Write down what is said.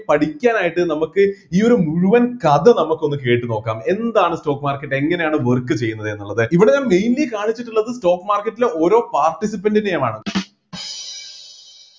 പഠിക്കാനായിട്ട് നമ്മക്ക് ഈയൊരു മുഴുവൻ കഥ നമുക്ക് ഒന്ന് കേട്ടുനോക്കാം എന്താണ് stock market എങ്ങനെയാണ് work ചെയ്യുന്നത് എന്നുള്ളത് ഇവിടെ ഞാൻ mainly കാണിച്ചിട്ട് ഉള്ളത് stock market ലെ ഓരോ participants ൻ്റെയുമാണ്